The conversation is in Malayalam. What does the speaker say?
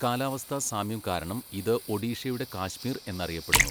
കാലാവസ്ഥാ സാമ്യം കാരണം ഇത് 'ഒഡീഷയുടെ കാശ്മീർ' എന്നറിയപ്പെടുന്നു.